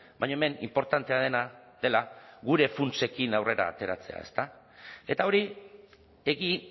baina hemen inportantea dena dela gure funtsekin aurrera ateratzea ezta eta hori egi